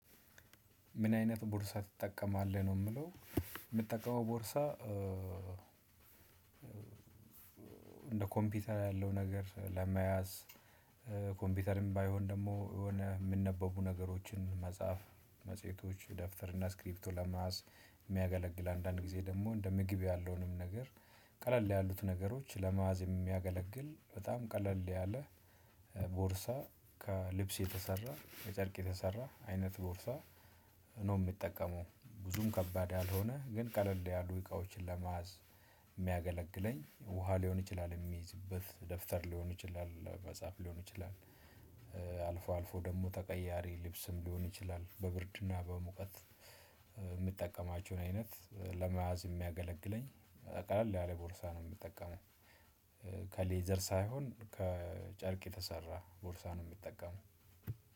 ምን አይነት ቦርሳ ትጠቀማለህ ነው ምለው የምትጠቀመው ቦርሳ? እንደ ኮምፒውተር ያለው ነገር ለመያዝ። ኮምፒውተርም ባይሆን ደግሞ የሆነ የምንነበቡ ነገሮችን መጽሐፍ መጽሔቶች ደፍተር እና ስክሪፕቶ ለመያዝ የሚያገለግል አንዳንድ ጊዜ ደግሞ እንደ ምግብ ያለውንም ነገር ቀለል ያሉት ነገሮች ለመያዝ የሚያገለግል በጣም ቀለል ያለ ቦርሳ ከልብስ የተሰራ ከጨርቅ የተሰራ አይነት ቦርሳ። ነው ምጠቀመው ብዙም ከባድ ያልሆነ ግን ቀለል ያሉ እቃዎችን ለመያዝ የሚያገለግለኝ ውሃ ሊሆን ይችላል የሚይዝበት ደፍተር ሊሆን ይችላል መጽሐፍ ሊሆን ይችላል። አልፎ አልፎ ደግሞ ተቀያሪ ልብስም ሊሆን ይችላል በብርድና በሙቀት የምጠቀማቸውን አይነት ለመያዝ የሚያገለግለኝ ቀለል ያለ ቦርሳ ነው። ምጠቀመው ከሌዘር ሳይሆን ከጨርቅ የተሰራ ቦርሳ ምጠቀመው።